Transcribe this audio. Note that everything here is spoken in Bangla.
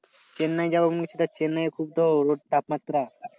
চেন্নায় যাব কিন্তু চেন্নায়ে রোদ তাপমাত্রা।